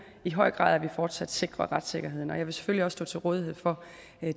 i høj grad at vi fortsat sikrer retssikkerheden og jeg vil selvfølgelig også stå til rådighed for